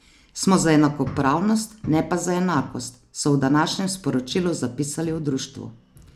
Smo za enakopravnost, ne pa za enakost, so v današnjem sporočilu zapisali v društvu.